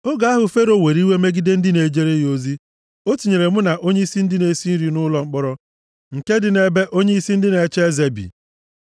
Oge ahụ Fero were iwe megide ndị na-ejere ya ozi, o tinyere mụ na onyeisi ndị na-esi nri nʼụlọ mkpọrọ nke dị nʼebe onyeisi ndị nche eze bi.